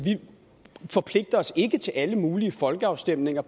forpligter os ikke til alle mulige folkeafstemninger